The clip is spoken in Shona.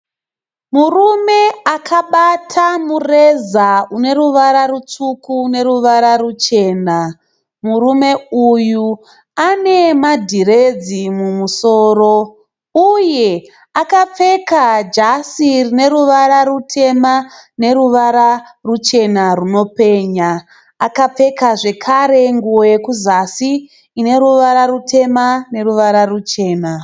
Murume akabata mureza une ruvara rutsvuku neruvara ruchena. murume uyu ane madhiredzi mumusoro uye akapfeka jasi rine ruvara rutema neruvara ruchena runopenya, akapfeka zvekare nguvo yekuzasi ine ruvara rutema neruvara ruchena.